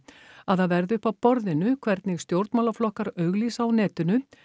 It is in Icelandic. að það verði upp á borðinu hvernig stjórnmálaflokkar auglýsa á netinu